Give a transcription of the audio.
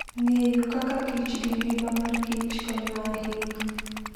Ng'eyo kaka kich gi ngima mar kich konyo ahinya.